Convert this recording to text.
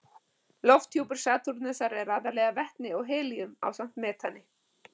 Lofthjúpur Satúrnusar er aðallega vetni og helíum ásamt metani.